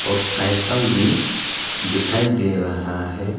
Cycle भी दिखाई दे रहा है।